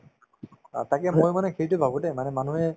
অ, তাকে মই মানে সেইটোয়ে ভাবো দেই মানে মানুহে